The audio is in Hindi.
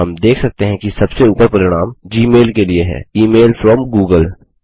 हम देख सकते हैं कि सबसे उपर परिणाम जी मैल के लिए है इमेल फ्रॉम गूगल